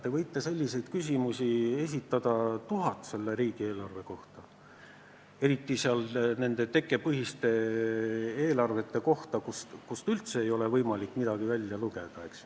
Te võite esitada tuhat niisugust küsimust selle riigieelarve kohta, eriti nende tekkepõhiste eelarvete kohta, kust üldse ei ole võimalik midagi välja lugeda.